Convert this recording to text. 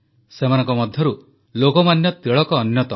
ସେମାନଙ୍କ ମଧ୍ୟରୁ ଲୋକମାନ୍ୟ ତିଳକ ଅନ୍ୟତମ